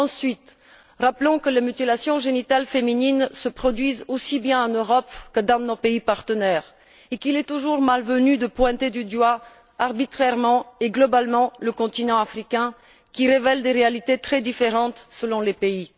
Deuxièmement, rappelons que les mutilations génitales féminines se produisent aussi bien en Europe que dans nos pays partenaires et qu'il est toujours malvenu de pointer du doigt arbitrairement et globalement le continent africain, qui révèle des réalités très différentes selon les pays.